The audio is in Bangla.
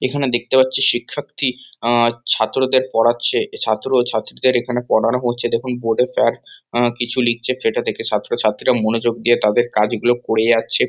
এখানে দেখতে পাচ্ছি শিক্ষার্থী আ ছাত্রদের পড়াচ্ছে। ছাত্র ও ছাত্রীদের এখানে পড়ানো হচ্ছে দেখুন বোর্ড -এ স্যার আ কিছু লিখছে সেটা দেখে ছাত্রছাত্রীরা মনোযোগ দিয়ে তাদের কাজগুলো করে যাচ্ছে।